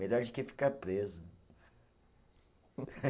Melhor de que ficar preso.